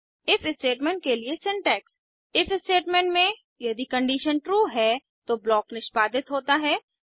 if statement के लिए syntax if statement में यदि कंडीशन ट्रू है तो ब्लॉक निष्पादित होता है